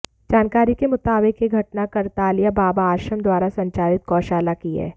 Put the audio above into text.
जानकारी के मुताबिक यह घटना करतालिया बाबा आश्रम द्वारा संचालित गोशाला की है